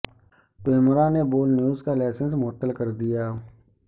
پیمرا نے بول نیوز کا لائسنس معطل کر دیا